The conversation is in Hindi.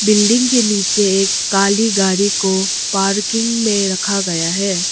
बिल्डिंग के नीचे एक काली गाड़ी को पार्किंग में रखा गया है।